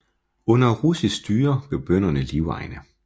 Under russisk styre blev bønderne livegne